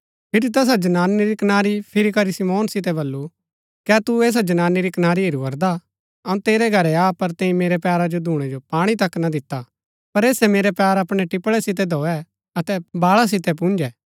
फिरी तैसा जनानी री कनारी फिरी करी शिमौन सितै बल्लू कै तू ऐसा जनानी री कनारी हेरू करदा अऊँ तेरै घरै आ पर तैंई मेरै पैरा जो धूणै जो पाणी तक ना दिता पर ऐसै मेरै पैर अपणै टिपळै सितै धोऐ अतै बाळा सितै पुन्जै